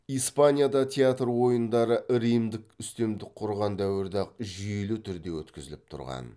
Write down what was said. испанияда театр ойындары римдік үстемдік құрған дәуірде ақ жүйелі түрде өткізіліп тұрған